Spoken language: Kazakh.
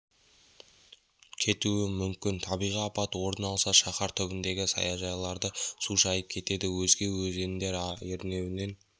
кетуі мүмкін табиғи апат орын алса шаһар түбіндегі саяжайларды су шайып кетеді өзге өзендер ернеуінен